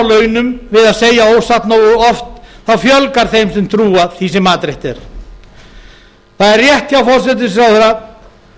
launum við að segja ósatt nógu oft fjölgar þeim sem trúa því sem matreitt er það er rétt hjá forsætisráðherra